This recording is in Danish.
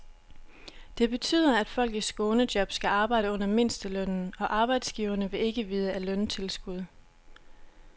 Det betyder, at folk i skånejob skal arbejde under mindstelønnen, og arbejdsgiverne vil ikke vide af løntilskud.